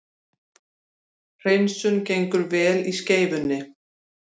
Hreinsun gengur vel í Skeifunni